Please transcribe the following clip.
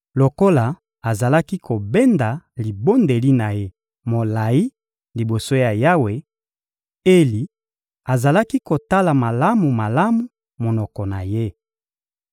Lokola azalaki kobenda libondeli na ye molayi liboso ya Yawe, Eli azalaki kotala malamu-malamu monoko na ye.